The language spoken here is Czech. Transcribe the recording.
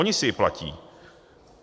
Oni si ji platí.